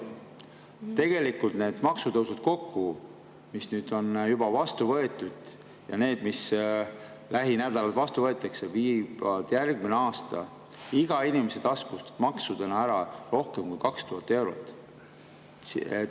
Tegelikult need maksutõusud kokku, mis nüüd on juba vastu võetud, ja need, mis lähinädalal vastu võetakse, viivad järgmine aasta iga inimese taskust maksudena ära rohkem kui 2000 eurot.